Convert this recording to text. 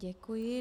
Děkuji.